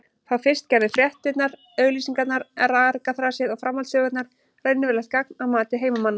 Þá fyrst gerðu fréttirnar, auglýsingarnar, argaþrasið og framhaldssögurnar raunverulegt gagn að mati heimamanna.